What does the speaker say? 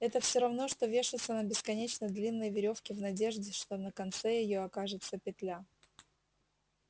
это все равно что вешаться на бесконечно длинной верёвке в надежде что на конце её окажется петля